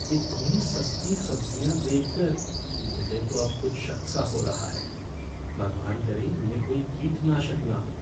इतनी सस्ती सब्ज़ियाँ देखकर मुझे तो अब कुछ शक सा हो रहा है, भगवान करे इनमें कोई कीटनाशक ना हो।